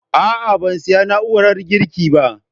A'a, ban siya na'urar girki ba